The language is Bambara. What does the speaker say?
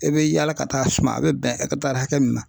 I bɛ yaala ka taa suma a bɛ bɛn hakɛ min na.